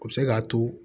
O bɛ se k'a to